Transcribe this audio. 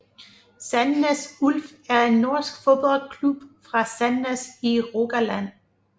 Sandnes Ulf er en norsk fodboldklub fra Sandnes i Rogaland